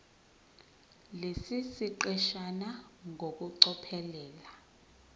lesi siqeshana ngokucophelela